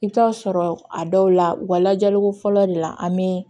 I bɛ t'a sɔrɔ a dɔw la u ka lajɛliko fɔlɔ de la an bɛ